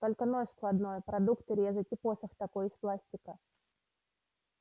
только нож складной продукты резать и посох такой из пластика